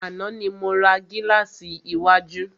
Àná ni mo ra gílàsì iwájú.